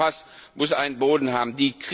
Aber dieses Fass muss einen Boden haben.